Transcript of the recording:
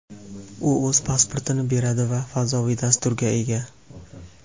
U o‘z pasportini beradi va fazoviy dasturga ega.